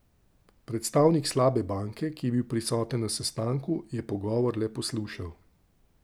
Predstavnik slabe banke, ki je bil prisoten na sestanku, je pogovor le poslušal.